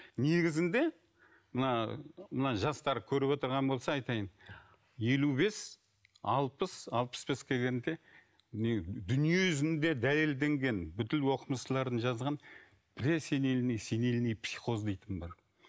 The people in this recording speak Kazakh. негізінде мына мына жастар көріп отырған болса айтайын елу бес алпыс алпыс беске келгенде дүние жүзінде дәлелденген бүкіл оқымыстылардың жазған пресенильные и сенильные психоз дейтін бар